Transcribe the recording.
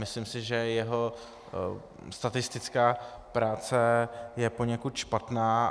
Myslím si, že jeho statistická práce je poněkud špatná.